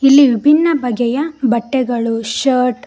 ಇಲ್ಲಿ ವಿಭಿನ್ನ ಬಗೆಯ ಬಟ್ಟೆಗಳು ಶರ್ಟ್ --